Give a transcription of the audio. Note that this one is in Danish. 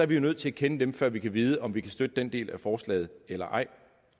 vi jo nødt til at kende dem før vi kan vide om vi kan støtte den del af forslaget eller ej